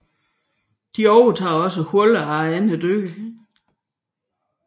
De overtager også huler efter andre dyr